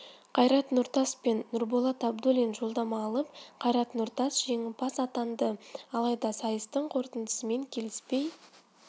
қайрат нұртас пен нұрболат абдуллин жолдама алып қайрат нұртас жеңімпаз атанды алайда сайыстың қорытындысымен келіспей